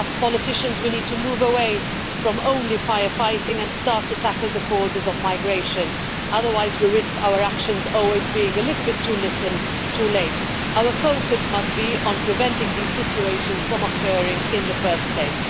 As politicians, we need to move away from just fire fighting and start to tackle the causes of migration, otherwise we risk our actions always being too little, too late. Our focus must be on preventing these situations from occurring in the first place.